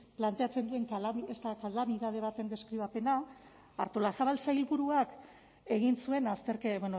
planteatzen duen kalamidade baten deskribapena artolazabal sailburuak egin zuen azterketa